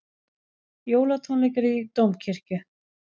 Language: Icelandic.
Jólatónleikar í Dómkirkju